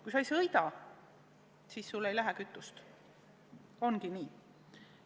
Kui sa ei sõida, siis sul ei lähe kütust – ongi nii.